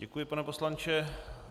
Děkuji, pane poslanče.